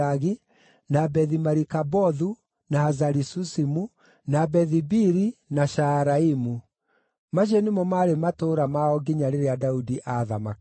na Bethi-Marikabothu, na Hazari-Susimu, na Bethi-Biri, na Shaaraimu. Macio nĩmo maarĩ matũũra mao nginya rĩrĩa Daudi aathamakaga.